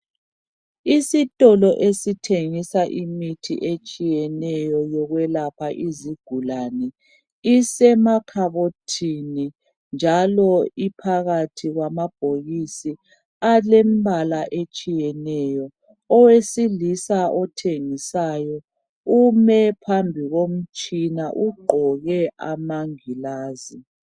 Isitolo esithengisa imithi etshiyeneyo yokwelapha izigulane isemakhabothini njalo iphakathi kwama bhokisi alembala etshiyeneyo. Owesilisa othengisayo ume phambi komtshina ugqoke amangilazi.